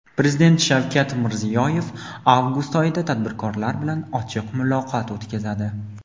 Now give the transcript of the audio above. prezident Shavkat Mirziyoyev avgust oyida tadbirkorlar bilan ochiq muloqot o‘tkazadi.